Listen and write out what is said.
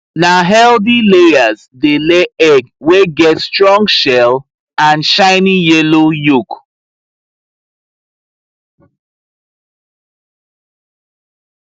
na healthy layers dey lay egg wey get strong shell and shiny yellow yolk